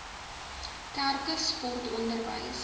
kerke sport onderwys